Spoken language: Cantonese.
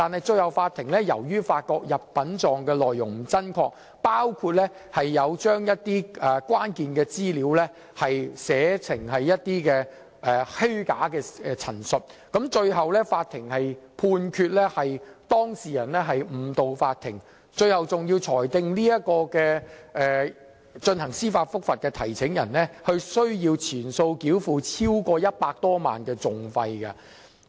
最後，法庭發覺入稟狀內容不真確，包括將一些關鍵資料寫成虛假陳述，判決當事人誤導法庭，並裁定有關司法覆核的提請人須全數繳付超過100多萬元的訟費。